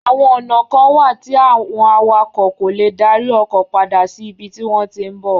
Àwọn ònà kan wà tí àwọn awakọ̀ kò le dárí ọkọ̀ padà ṣí ibi tí wọ́n tí ń bá